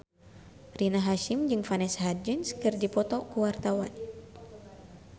Rina Hasyim jeung Vanessa Hudgens keur dipoto ku wartawan